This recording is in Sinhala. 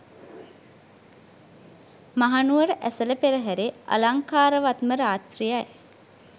මහනුවර ඇසළ පෙරහැරේ අලංකාරවත් ම රාත්‍රියයි.